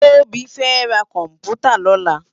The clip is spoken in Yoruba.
Tobi fè rá kòmpútá lòlá